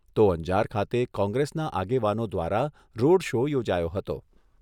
તો અંજાર ખાતે કોંગ્રેસના આગેવાનો દ્વારા રોડ શો યોજાયો હતો.